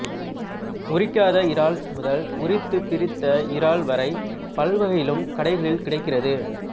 உரிக்காத இறால் முதல் உரித்து பிரித்த இறால் வரை பல்வகையிலும் கடைகளில் கிடைக்கிறது